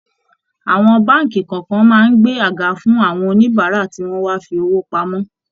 Àwọn báànkì kọ̀ọ̀kan máa ń gbé àga fún àwọn oníbàárà tí wọ́n wá fi owó pamọ́